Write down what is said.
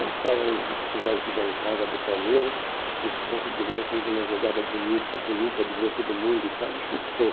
Nós estávamos hum na arquibancada do Palmeiras, esse Ponce de Leão fez uma jogada bonita, bonita, bonita, driblou todo mundo e tal, ele chutou.